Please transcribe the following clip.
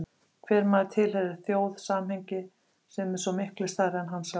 Hver maður tilheyrir þjóð, samhengi sem er svo miklu stærra en hann sjálfur.